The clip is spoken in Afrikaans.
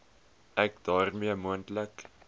ek daarmee moontlike